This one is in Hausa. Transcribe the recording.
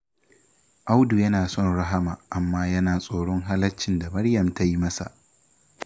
Audu yana son Rahama amma yana tsoron halaccin da Maryam ta yi masa